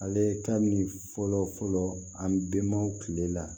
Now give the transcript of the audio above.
Ale ka min fɔlɔ fɔlɔ an benmaaw tile la